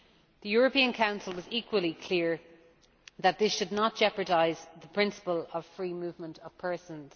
The European Council was equally clear that this should not jeopardise the principle of free movement of persons.